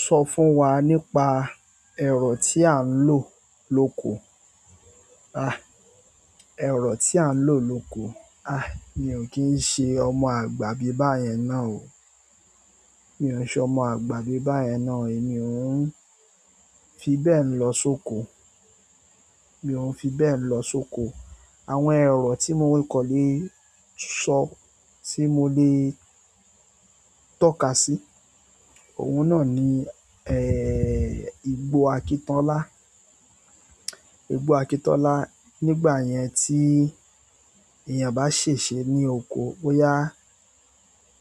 Sọ fún wa nípa ẹ̀rọ tí a ń lò lóko. A, ẹ̀rọ tí a ń lò lóko. A, mi ò kí ń ṣe ọmọ àgbà bíbàyẹn náà o. Mi ò ṣe ọmọ àgbà bíbàyẹn náà o. Èmi ò ń fi bẹ́ẹ̀ lọ sóko. Mi ò ń fi bẹ́ẹ̀ lọ sóko. Àwọn ẹ̀rọ tí mo lè kan le sọ, tí mo lè tọ́ka sí, òun náà ni, eh, igbó akítọ́lá. Igbó akítọ́lá. Nígbà yẹn tí èèyàn bá ṣèṣe ní oko, bóyá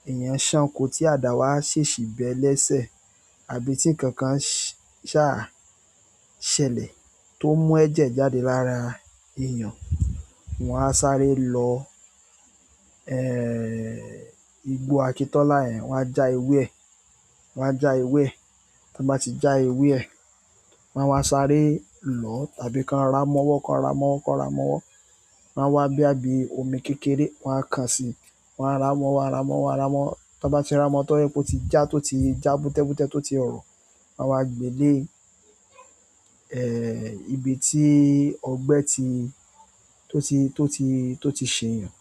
èèyàn ṣán oko tí àdáwá ṣèṣì bé lẹ́sẹ̀, àbí tí kankan ṣáa ṣẹlẹ̀ tó mú ẹ̀jẹ̀ jáde lára èèyàn, wọ́n á sáré lọ, eh, igbó akítọ́lá yẹn, wọ́n á já ewé ẹ̀. Wo. A ja ewe e tí wọ́n bá ti já ewé ẹ̀, wọ́n á wá sáré lọo tàbí ka ramọ́wọ́, ka ramọ́wọ́, ka ramọ́wọ́. Wọ́n á wá boya bí omi kékeré, wọ́n á kaàn sí i, wọ́n á ramọ́wọ́, wọ́n á ramọ́wọ́, wọ́n á ramọ́wọ́. Tí wọ́n bá ti ramọ́wọ́ tó ẹni pé ó ti já tó ti já bútẹ́ bútẹ́ tó ti rọ̀, wọ́n á gbe dé, eh, ibi tí ọgbẹ́ ti tó ti tó ti tó ti ṣè eeyàn.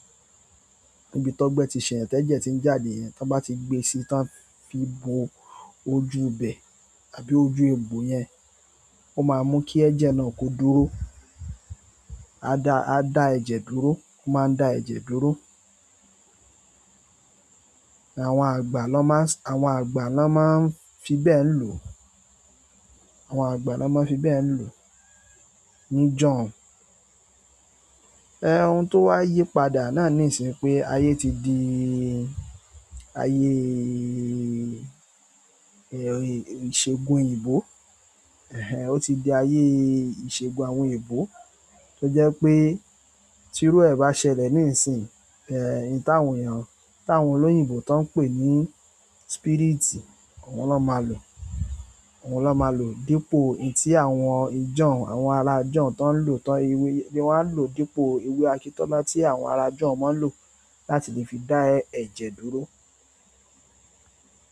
Ibi ti o gbe ti se eeyan teje ti n jáde tí wọ́n bá ti gbé sí i tí wọ́n fi bo ojú ibẹ̀ àbí ojú egbò yẹn, ó máa mú kí ẹ̀jẹ̀ náà kó dúró. A dá, a dá ẹ̀jẹ̀ dúró. Ó máa ń dá ẹ̀jẹ̀ dúró. Àwọn àgbà lọ́ máa s-- àwọn àgbà lọ́ máa ń fi bẹ́ẹ̀ lò. Àwọn àgbà lọ́ máa ń fi bẹ́ẹ̀ lò ní jọ̀ọ́ùn. Eh, ohun tó wá yí padà náà ní ìsìn npé ayé ti di ayé, eh, ìṣègùn òyìnbó. Ẹ̀hẹn, ó ti di ayé ìṣègùn àwọn òyìnbó tó jẹ́ pé tírú ẹ̀ bá ṣẹlẹ̀ ní ìsìn, eh, èyí tàwọn èèyàn, tawọn olóyìnbó tó ń pè ní spirit, oun lọ́ máa lò. Oun lọ́ máa lò dípò hun tí àwọn ìjọ̀un, àwọn ará ìjọ̀un tó ń lò tán ewé, bí wọ́n á lò dípò ewé akítọ́lá tí àwọn ará ìjọ̀un máa ń lò láti lè fi dá ẹ̀jẹ̀ dúró.